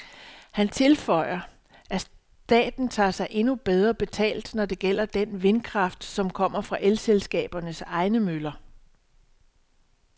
Han tilføjer, at staten tager sig endnu bedre betalt, når det gælder den vindkraft, som kommer fra elselskabernes egne møller.